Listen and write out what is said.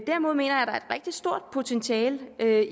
rigtig stort potentiale